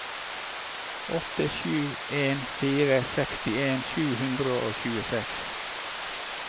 åtte sju en fire sekstien sju hundre og tjueseks